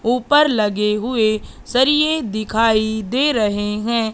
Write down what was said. ऊपर लगे हुए सरिये दिखाई दे रहे हैं।